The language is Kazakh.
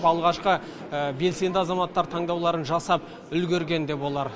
алғашқы белсенді азаматтар таңдауларын жасап үлгерген де болар